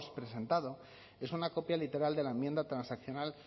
presentado es una copia literal de la enmienda transaccional